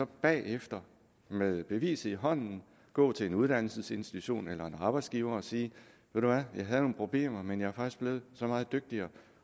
bagefter med beviset i hånden gå til en uddannelsesinstitution eller en arbejdsgiver og sige ved du hvad jeg havde nogle problemer men jeg er faktisk blevet så meget dygtigere